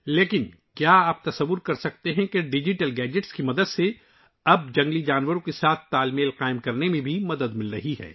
لیکن کیا آپ تصور کر سکتے ہیں کہ ڈیجیٹل گیجٹس کی مدد سے ، اب یہ جنگلی جانوروں سے ہم آہنگ رہنے میں ہماری مدد کر رہا ہے